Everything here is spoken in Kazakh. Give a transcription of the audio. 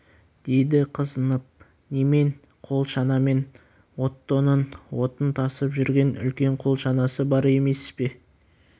деді қызынып немен қол шанамен оттоның отын тасып жүрген үлкен қол шанасы бар емес пе